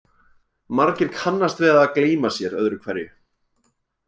Margir kannast við að gleyma sér öðru hverju.